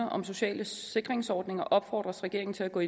om sociale sikringsordninger opfordres regeringen til at gå